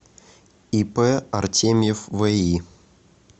ип артемьев ви